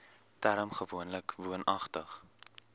term gewoonlik woonagtig